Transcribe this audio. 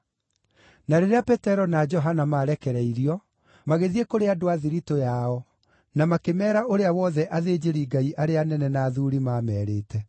Na rĩrĩa Petero na Johana maarekereirio, magĩthiĩ kũrĩ andũ a thiritũ yao, na makĩmeera ũrĩa wothe athĩnjĩri-Ngai arĩa anene na athuuri maameerĩte.